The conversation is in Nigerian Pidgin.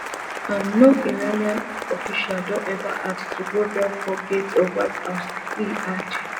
um no iranian official don ever ask to grovel for gates of white house e add